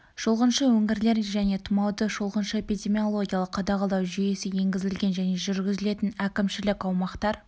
шолғыншы өңірлер және тұмауды шолғыншы эпидемиологиялық қадағалау жүйесі енгізілген және жүргізілетін әкімшілік аумақтар